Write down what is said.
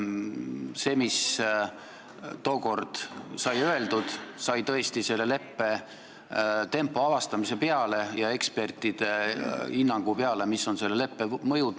See, mis tookord sai öeldud, sai öeldud selle tempo avastamise peale ja ekspertide hinnangu peale selle kohta, mis on selle leppe mõjud.